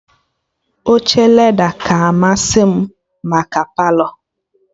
Oche leda ka amasị m maka Palọ